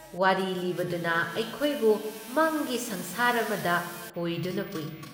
ꯋꯥꯔꯤ ꯂꯤꯕꯗꯨꯅ ꯑꯩꯈꯣꯏꯕꯨ ꯃꯪꯒꯤ ꯁꯪꯁꯥꯔ ꯑꯃꯗ ꯍꯣꯏꯗꯨꯅ ꯄꯨꯏ ꯫